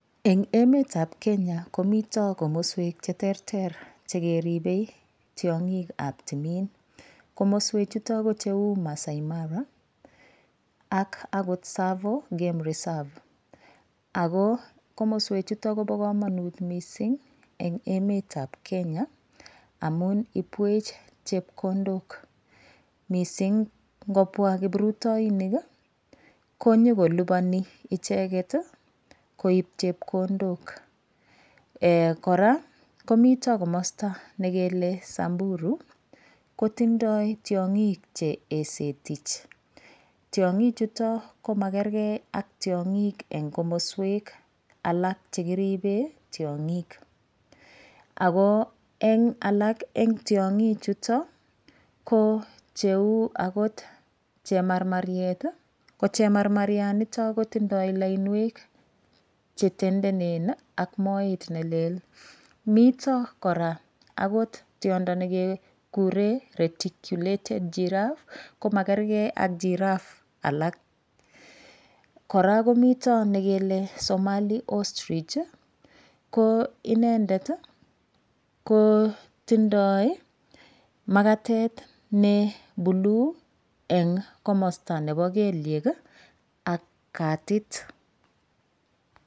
Eng' emetab Kenya komito komoswek cheterter chekeribei tiyong'ikab timin komoswe chuto ko cheu masaai mara ak akot Tsavo game reserve ako komoswechuto kobo kamanut mising' eng' emetab Kenya amun ipwech chepkondok mising' ngopwa kiprutoinik konyokolupani icheget koib chepkondok kora komito komosta nekele samburu kotindoi tiyong'ik che esetich tiyong'i chuto komakergei ak tiyong'ik eng' komoswek alak chekiribei tiyong'ik ako eng' alak eng' tiong'i chuto ko cheu akot chemarmaryet ko chemarmaryanitok kotindoi lainwek chetendenen ak moet nelel mito kora akot tiyondo nekekure reticulated giraffe komakergei ak giraffe alak kora komito nekele Somali ostrich ko inendet kotindoi makatet ne blue eng' komosta nebo kelyek ak katit